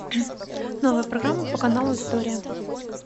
новая программа по каналу история